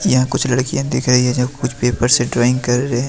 यहां कुछ लड़कियां दिख रही हैं जो कुछ पेपर से ड्राइंग कर रहे हैं।